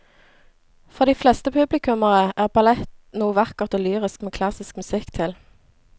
For de fleste publikummere er ballett noe vakkert og lyrisk med klassisk musikk til.